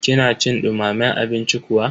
kina cin dumamen abinci kuwa?